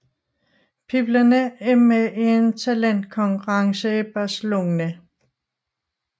Pigerne er med i en talentkonkurrence i Barcelona